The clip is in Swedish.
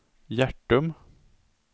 Hjärtum